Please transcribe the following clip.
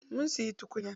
Mun siya tukunya.